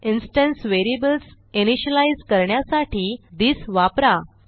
instance variables initialize करण्यासाठी this वापरा